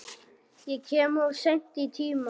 Ég kem of seint í tímann.